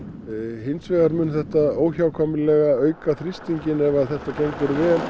hins vegar mun þetta óhjákvæmilega auka þrýstinginn ef þetta gengur vel